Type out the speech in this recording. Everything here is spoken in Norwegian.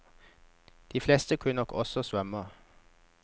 De fleste kunne nok også svømme.